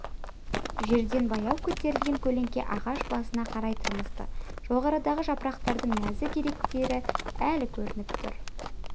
жерден баяу көтерілген көлеңке ағаш басына қарай тырмысты жоғарыдағы жапырақтардың нәзік иректері әлі көрініп тұр